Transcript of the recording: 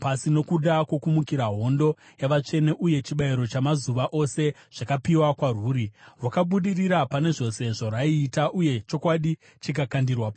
Nokuda kwokumukira, hondo yavatsvene uye chibayiro chamazuva ose zvakapiwa kwarwuri. Rwakabudirira pane zvose zvarwaiita, uye chokwadi chikakandirwa pasi.